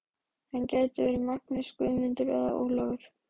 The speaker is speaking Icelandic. Hann gæti heitið Magnús, Guðmundur eða Ólafur.